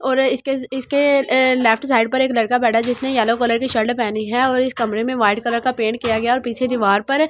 और इसके इसके अ लेफ्ट साइड पर एक लड़का बैठा है जिसने येलो कलर की शर्ट पहनी है और इस कमरे में व्हाइट कलर का पेंट किया गया और पीछे दीवार पर दो तीन --